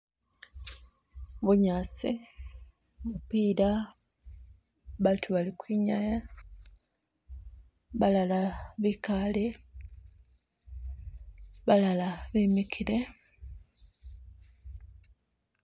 Bunyaasi , mupiila, baatu bali ukhwinyaya balala bikaale , balala bemikile